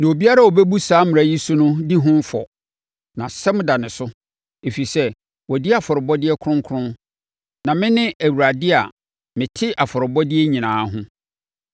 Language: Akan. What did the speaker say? Na obiara a ɔbɛbu saa mmara yi so no di ho fɔ, na asɛm da ne so, ɛfiri sɛ, wadi afɔrebɔdeɛ kronkron. Na mene Awurade a mete afɔrebɔdeɛ nyinaa ho.”